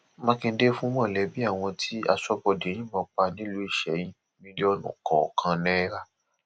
mákindé fún mọlẹbí àwọn tí aṣọbodè yìnbọn pa nílùú isẹyìn mílíọnù kọọkan náírà